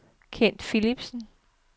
Kent Philipsen